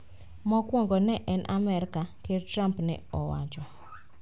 Mokwongo en Amerka, ker Trump ne owacho